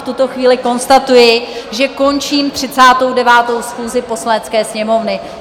V tuto chvíli konstatuji, že končím 39. schůzi Poslanecké sněmovny.